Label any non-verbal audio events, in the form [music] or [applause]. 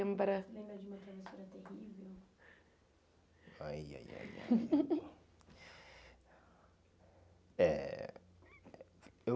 lembra? [unintelligible] ai, ai, ai, ai [laughs] Eh eu